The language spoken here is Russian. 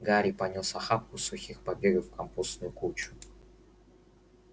гарри понёс охапку сухих побегов в компостную кучу